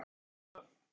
Það er aldrei að vita